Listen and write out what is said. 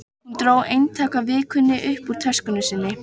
Hún dró eintak af Vikunni upp úr töskunni sinni.